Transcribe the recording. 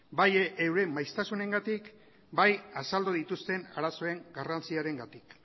bai euren maiztasunengatik bai azaldu dituzten arazoen garrantziarengatik